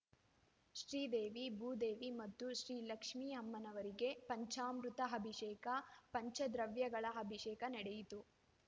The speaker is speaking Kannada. ಶ್ರೀದೇವಿ ಭೂದೇವಿ ಮತ್ತು ಶ್ರೀ ಲಕ್ಷ್ಮೀ ಅಮ್ಮನವರಿಗೆ ಪಂಚಾಮೃತ ಅಭಿಷೇಕ ಪಂಚದ್ರವ್ಯಗಳ ಅಭಿಷೇಕ ನಡೆಯಿತು